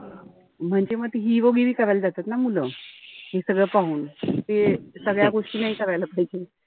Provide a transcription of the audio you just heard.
म्हणजे मी आता hero गिरी करायला जातात ना मुलं. हे सगळं पाहून. त सगळ्या गोष्टी नाई करायला पाहिजे.